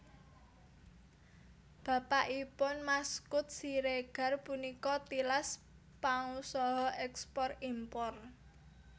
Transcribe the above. Bapakipun Maskud Siregar punika tilas pangusaha èkspor impor